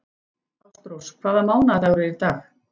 Ástrós, hvaða mánaðardagur er í dag?